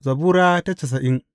Zabura Sura casa'in